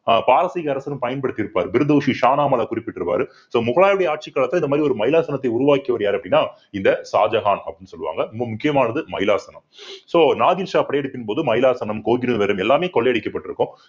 ஆஹ் பாரசீக அரசரும் பயன்படுத்தி இருப்பார் குறிப்பிட்டுருவாரு so முகலாயருடைய ஆட்சிக் காலத்துல இந்த மாதிரி ஒரு மைலாசனத்தை உருவாக்கியவர் யார் அப்படின்னா இந்த ஷாஜகான் அப்படின்னு சொல்லுவாங்க. ரொம்ப முக்கியமானது மைலாசனம் so நாதிர் ஷா படையெடுப்பின் போது மைலாசனம்கோகினூர் வைரம் எல்லாமே கொள்ளையடிக்கபட்டிருக்கும்